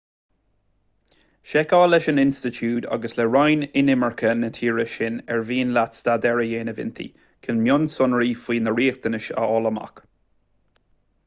seiceáil leis an institiúid agus le roinn inimirce na tíre sin ar mhian leat staidéar a dhéanamh inti chun mionsonraí faoi na riachtanais a fháil amach